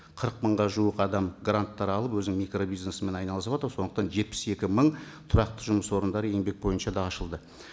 қырық мыңға жуық адам гранттар алып өзінің микробизнесімен айналысыватыр сондықтан жетпіс екі мың тұрақты жұмыс орындары еңбек бойынша да ашылды